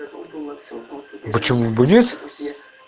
почему бы нет